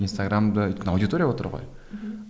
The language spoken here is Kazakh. инстаграмды өйткені аудитория отыр ғой мхм